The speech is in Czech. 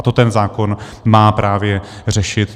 A to ten zákon má právě řešit.